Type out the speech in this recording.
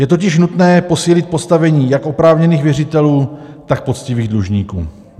Je totiž nutné posílit postavení jak oprávněných věřitelů, tak poctivých dlužníků.